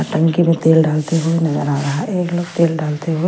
टंकी में तेल डालते हुए नजर आ रहा है एक लोग तेल डालते हुए--